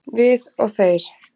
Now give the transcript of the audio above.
Við og þeir